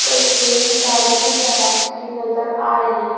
तस्वीर गाड़ी के गराज की नजर आ रही है।